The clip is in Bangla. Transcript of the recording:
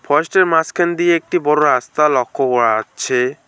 ফরেস্টের মাঝখান দিয়ে একটি বড় রাস্তা লক্ষ্য করা যাচ্ছে।